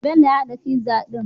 Bello ya hada pizza din?